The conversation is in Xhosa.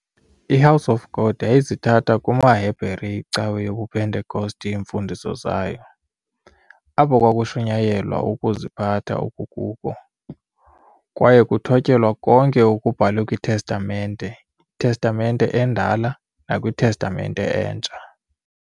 IHouse of God yayizithatha kumaHebhere icawa yobupentecosti iimfundiso zayo, apho kwakushunyayelwa ukuziphatha okukuko, kwaye kuthptyelwa konke okubhalwe kwiTestamenteTestamente endala nakwiTestamente entsha.